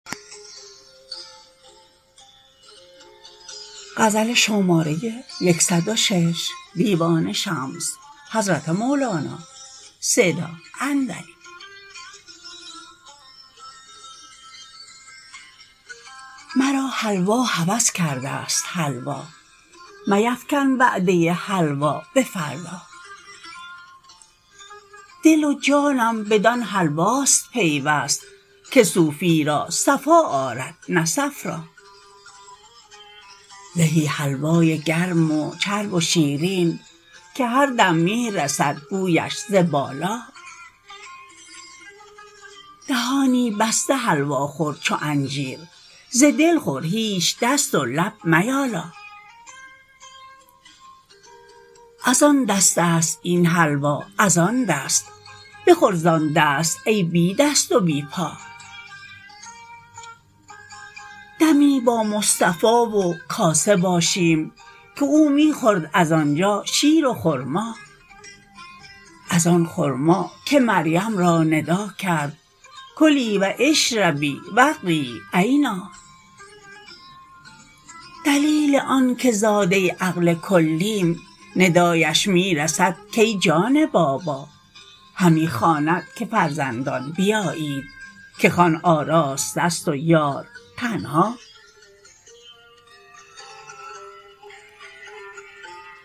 مرا حلوا هوس کردست حلوا میفکن وعده حلوا به فردا دل و جانم بدان حلواست پیوست که صوفی را صفا آرد نه صفرا زهی حلوای گرم و چرب و شیرین که هر دم می رسد بویش ز بالا دهانی بسته حلوا خور چو انجیر ز دل خور هیچ دست و لب میالا از آن دستست این حلوا از آن دست بخور زان دست ای بی دست و بی پا دمی با مصطفا و کاسه باشیم که او می خورد از آن جا شیر و خرما از آن خرما که مریم را ندا کرد کلی و اشربی و قری عینا دلیل آنک زاده عقل کلیم ندایش می رسد کای جان بابا همی خواند که فرزندان بیایید که خوان آراسته ست و یار تنها